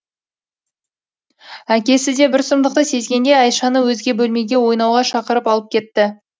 әкесі де бір сұмдықты сезгендей айшаны өзге бөлмеге ойнауға шақырып алып кетті